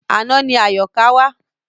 Àná ni Àyọ̀ká wá.